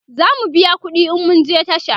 zamu biya ƙuɗi in mun je tasha